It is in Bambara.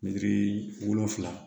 wolonfila